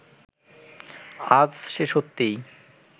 আজ সে সত্যিই